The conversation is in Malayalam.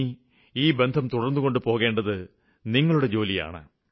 ഇനി ഈ ബന്ധം തുടര്ന്നുകൊണ്ടു പോകേണ്ടത് നിങ്ങളുടെ ജോലിയാണ്